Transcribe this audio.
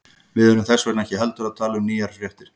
Við erum þess vegna ekki heldur að tala um nýjar fréttir.